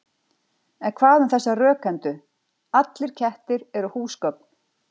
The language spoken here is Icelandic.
En hvað um þessa rökhendu: Allir kettir eru húsgögn